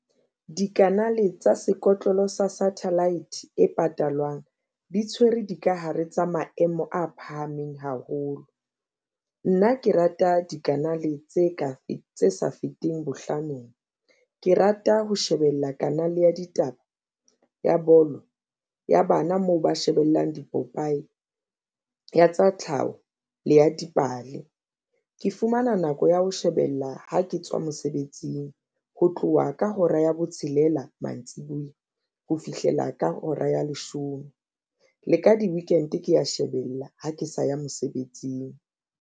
Dikanale tsa sekotlolo sa satellite e patalwang di tshwere dikahare tsa maemo a phahameng haholo. Nna ke rata dikanale tse ka tse sa feteng bohlanong, ke rata ho shebella kanale ya ditaba, ya bolo, ya bana moo ba shebellang dipopaye ya tsa tlhaho le ya dipale. Ke fumana nako ya ho shebella ha ke tswa mosebetsing ho tloha ka hora ya botshelela mantsibuya ho fihlela ka hora ya leshome le ka di-weekend ke ya shebella ha ke sa ya mosebetsing.